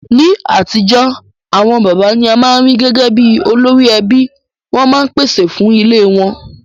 Ní atijọ́, àwon bàbá ni a ma n ri gẹgẹ bi olórí ẹbí, won ma n pèsè fun ilé won